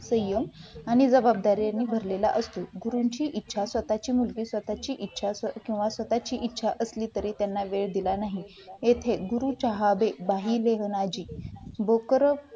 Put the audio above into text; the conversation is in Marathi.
संयम आणि जबाबदाऱ्यांनी भरलं असतो. गुरूंची इच्छा स्वतःची मर्जी स्वतःची इच्छा स्वतःची इच्छा असली तरी त्यांना भेट दिला नाही तेथे गुरू चहा जी